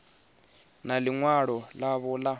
na ḽi ṅwalo ḽavho ḽa